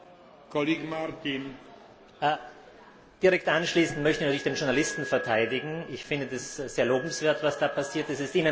Herr Präsident! Direkt anschließend möchte ich den Journalisten verteidigen. Ich finde es sehr lobenswert, was da passiert ist.